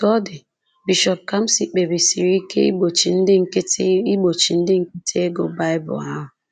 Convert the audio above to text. Otú ọ dị, Bishọp kamsị kpebisiri ike igbochi ndị nkịtị igbochi ndị nkịtị ịgụ Bible ahụ